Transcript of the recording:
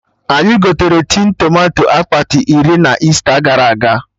Anyị gotere tin tomato akpati iri na Easter gara aga